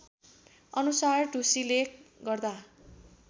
अनुसार ढुसीले गर्दा